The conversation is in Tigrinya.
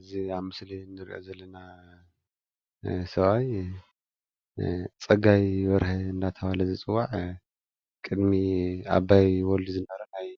እዚ ኣብ ምስሊ ንርእዮ ዘለና ሰብኣይ ፀጋይ በርሀ እንዳተባሃለ ዝፅዋዕ ቅድሚ ኣባይ ወልዱ ዝነበረ ናይ